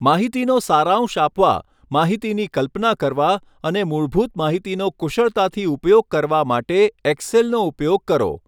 માહિતીનો સારાંશ આપવા, માહિતીની કલ્પના કરવા અને મૂળભૂત માહિતીનો કુશળતાથી ઉપયોગ કરવા માટે એક્સેલનો ઉપયોગ કરો.